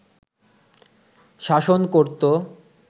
শাসন করত